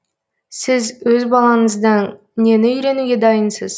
сіз өз балаңыздан нені үйренуге дайынсыз